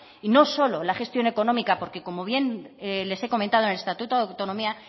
y no solo la gestión económica porque como bien les he comentado en el estatuto de autonomía